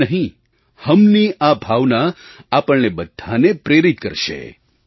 મૈં નહીં હમની આ ભાવના આપણને બધાંને પ્રેરિત કરશે